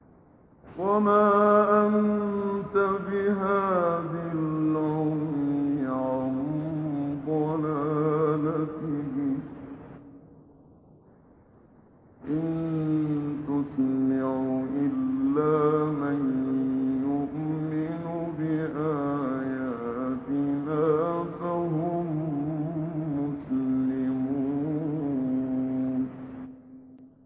وَمَا أَنتَ بِهَادِ الْعُمْيِ عَن ضَلَالَتِهِمْ ۖ إِن تُسْمِعُ إِلَّا مَن يُؤْمِنُ بِآيَاتِنَا فَهُم مُّسْلِمُونَ